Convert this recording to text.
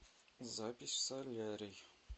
запись в солярий